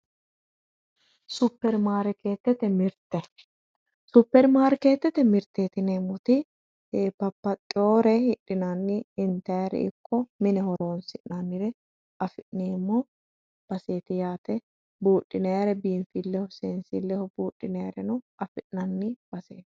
Supermarketete mirte supermarketete mirteeti yineemmoti eee babbaxeewore hidhinanni intayre ikko mine horoonsi'nannire afi'neemmo baseeti yaate seensayre buudhinayreno afi'nanni